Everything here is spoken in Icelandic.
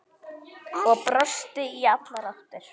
Og brosti í allar áttir.